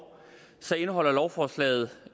indeholder lovforslaget